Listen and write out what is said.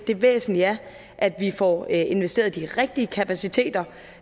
det væsentlige er at vi får investeret i de rigtige kapaciteter